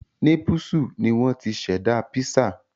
Népúsù ni wọ́n ti ṣẹ̀dá písà